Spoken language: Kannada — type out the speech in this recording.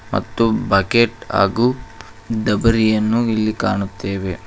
ಮತ್ತು ಬಕೆಟ್ ಹಾಗು ಡಬರಿಯನ್ನು ಇಲ್ಲಿ ಕಾಣುತ್ತೇವೆ.